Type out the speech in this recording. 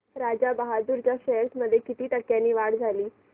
राजा बहादूर च्या शेअर्स मध्ये किती टक्क्यांची वाढ झाली